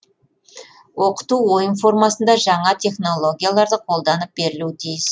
оқыту ойын формасында жаңа технологияларды қолданып берілуі тиіс